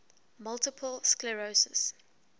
multiple sclerosis